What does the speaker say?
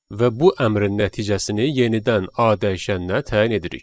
Və bu əmrin nəticəsini yenidən A dəyişəninə təyin edirik.